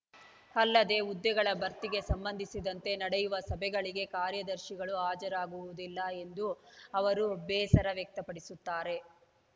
ಅಲ್ಲದೆ ಹುದ್ದೆಗಳ ಭರ್ತಿಗೆ ಸಂಬಂಧಿಸಿದಂತೆ ನಡೆಯುವ ಸಭೆಗಳಿಗೆ ಕಾರ್ಯದರ್ಶಿಗಳು ಹಾಜರಾಗುವುದಿಲ್ಲ ಎಂದು ಅವರು ಬೇಸರ ವ್ಯಕ್ತಪಡಿಸುತ್ತಾರೆ